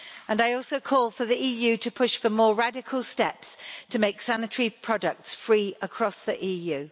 I also call for the EU to push for more radical steps to make sanitary products free across the EU.